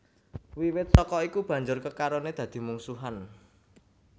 Wiwit saka iku banjur kekarone dadi mungsuhan